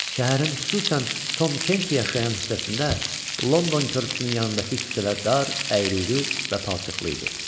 Şəhərin xüsusən Tom Kenti yaşayan hissəsində London körpüsünün yanındakı küçələr dar, əyri-üyrü və palçıqlı idi.